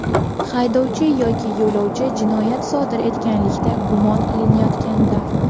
haydovchi yoki yo‘lovchi jinoyat sodir etganlikda gumon qilinayotganda;.